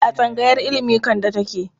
A tsangayar ilimi Kande take?